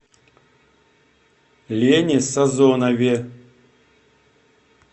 лене сазонове